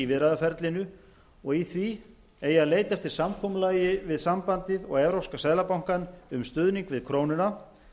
viðræðuferlinu og í því eigi að leita eftir samkomulagi við sambandið og evrópska seðlabankann um stuðning við krónuna en